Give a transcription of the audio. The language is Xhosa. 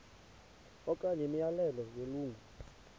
okanye imiyalelo yelungu